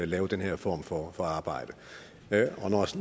lave den her form for arbejde